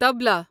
طبلہ